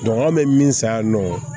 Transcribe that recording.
anw bɛ min san yan nɔ